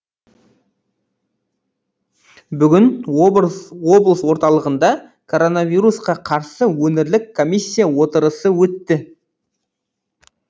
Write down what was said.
бүгін облыс орталығында коронавирусқа қарсы өңірлік комиссия отырысы өтті